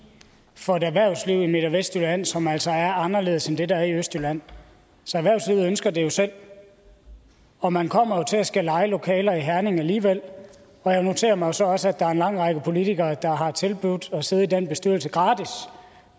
for et erhvervsliv i midt og vestjylland som altså er anderledes end det der er i østjylland så erhvervslivet ønsker det jo selv og man kommer til at skulle leje lokaler i herning alligevel og jeg noterer mig jo så også at der er en lang række politikere der har tilbudt at sidde i den bestyrelse gratis